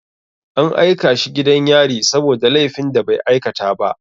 An aika shi gidan yari saboda laifin da bai aikata ba.